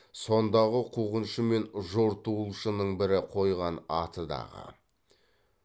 сондағы қуғыншы мен жортуылшының бірі қойған аты дағы